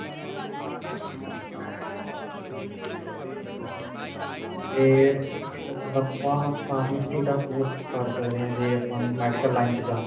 ਫੇਰ BA ਤੋਂ ਬਾਅਦ ਆਪਾਂ pharmacy ਦਾ course ਕਰ ਸਕਦੇ ਹਾਂ ਜੇ ਆਪਾਂ medical line ਚ ਜਾਣਾ